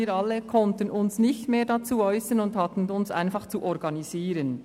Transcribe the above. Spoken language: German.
Wir alle konnten uns nicht mehr dazu äussern und hatten uns einfach zu organisieren.